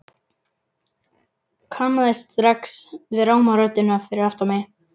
Kannaðist strax við ráma röddina fyrir aftan mig.